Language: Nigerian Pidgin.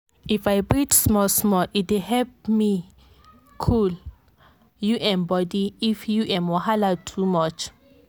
if i breathe small-small e dey help me cool u m body if u m wahala too much.